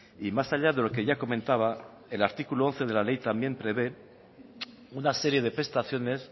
y más allá de lo que ya comentaba el artículo once de la ley también prevé una serie de prestaciones